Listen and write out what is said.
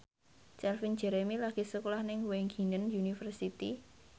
Calvin Jeremy lagi sekolah nang Wageningen University